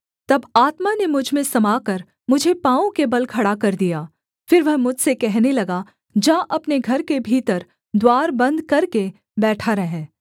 तब आत्मा ने मुझ में समाकर मुझे पाँवों के बल खड़ा कर दिया फिर वह मुझसे कहने लगा जा अपने घर के भीतर द्वार बन्द करके बैठा रह